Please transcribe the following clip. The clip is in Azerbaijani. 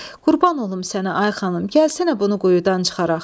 Qurban olum sənə, ay xanım, gəlsənə bunu quyudan çıxaraq.